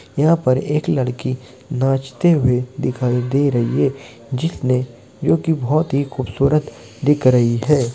यहां पे एक लड़की नाचते हुए दिखाई दे रही हैं जिसने जो कि बहुत ही खुबसूरत दिख रही हैं।